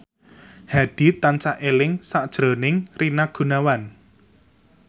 Hadi tansah eling sakjroning Rina Gunawan